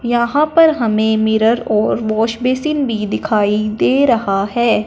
यहां पर हमें मिरर और वॉश बेसिन भी दिखाई दे रहा है।